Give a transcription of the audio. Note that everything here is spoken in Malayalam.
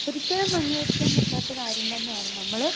സ്പീക്കർ 2 ഒരിക്കലും അംഗീകരിക്കാൻ പറ്റാത്ത കാര്യം തന്നെ ആണ്. നമ്മള്